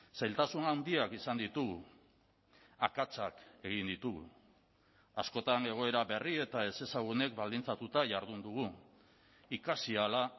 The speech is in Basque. zailtasun handiak izan ditugu akatsak egin ditugu askotan egoera berri eta ezezagunek baldintzatuta jardun dugu ikasi ahala